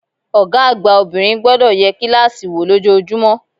Ògá àgbà obìnrin gbodò ye kílàsì wò lójojúmó